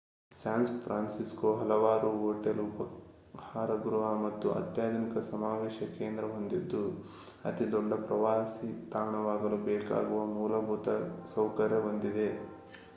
San Francisco ಹಲವಾರು hotel ಉಪಾಹಾರ ಗೃಹ ಮತ್ತು ಅತ್ಯಾಧುನಿಕ ಸಮಾವೇಶ ಕೇಂದ್ರ ಹೊಂದಿದ್ದು ಅತಿ ದೊಡ್ಡ ಪ್ರವಾಸಿ ತಾಣವಾಗಲು ಬೇಕಾಗುವ ಮೂಲಭೂತ ಸೌಕರ್ಯ ಹೊಂದಿದೆ